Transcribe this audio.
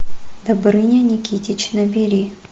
добрыня никитич набери